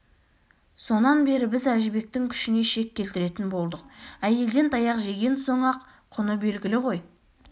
сонан бері біз әжібектің күшіне шек келтіретін болдық әйелден таяқ жеген соң-ақ құны белгілі ғой